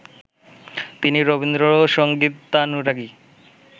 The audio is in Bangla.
তিনি রবীন্দ্রসংগীতানুরাগী